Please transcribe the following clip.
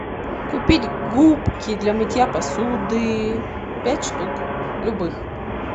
купить губки для мытья посуды пять штук любых